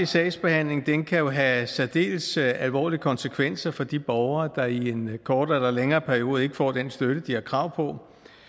sagsbehandling kan jo have særdeles alvorlige konsekvenser for de borgere der i en kortere eller længere periode ikke får den støtte de har krav på